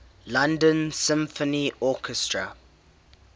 london symphony orchestra